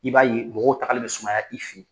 I b'a ye mɔgɔw tagali bɛ sumaya i fe yen